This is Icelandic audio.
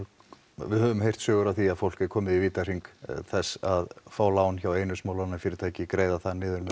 við höfum heyrt sögur af því að fólk er komið í vítahring þess að fá lán hjá einu smálánafyrirtæki greiða það niður